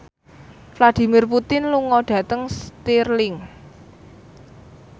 Vladimir Putin lunga dhateng Stirling